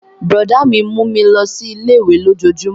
Brọ̀dá mi mú mi lọ sí ilé-ìwé lójojúmó